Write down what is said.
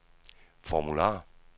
formular